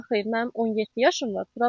Xeyr, mənim 17 yaşım var.